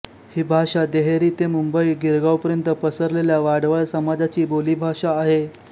ही भाषा देहेरी ते मुंबई गिरगाव पर्यंत पसरलेल्या वाडवळ समाजाची बोलीभाषा आहे